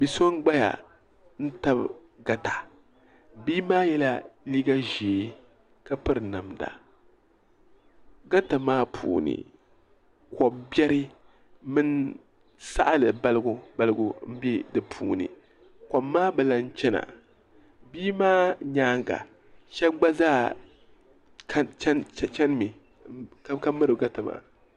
bi' so n-gbaya n-tabi gata bia maa yela liiga ʒee ka piri namda gata maa puuni ko' biɛri mini saɣiri balibu balibu m-be di puuni kom maa bi lahi chana bia maa nyaaga shɛba gba zaa chani mi ka miri gata maa.